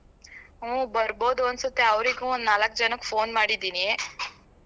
ಹೂ ಬರ್ಬೋದು ಅನ್ಸತ್ತೆ ಅವ್ರಿಗೂ ಒಂದ್ ನಾಲಕ್ ಜನಕ್ phone ಮಾಡಿದ್ದೀನಿ.